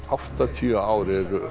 áttatíu ár eru